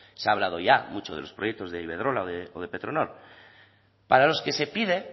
se ha hablado ya mucho de los proyectos de iberdrola o de petronor para los que se pide